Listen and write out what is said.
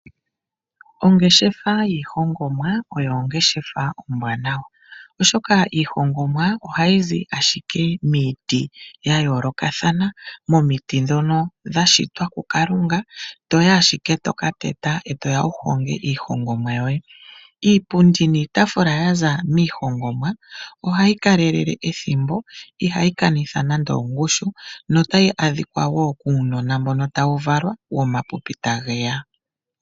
Ongeshefa yiihongomwa oyo ongeshefa ombwaanawa, oshoka iihongomwa ohayi zi ashike miiti ya yoolokathana. Momiti ndhono dha shitwa kuKalunga to yi ashike to ka teta, ngoye to ya wu honge iihongomwa yoye. Iipundi niitaafula ya za miihongomwa ohayi kalelele ethimbo ihayi kanitha nando ongushu notayi adhika wo kuunona mboka tawu valwa womapipi tage ya.